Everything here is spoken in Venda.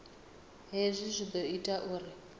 hezwi zwi ḓo ita uri